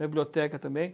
Na biblioteca também.